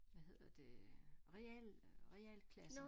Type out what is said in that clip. Havd hedder det øh realen realklassen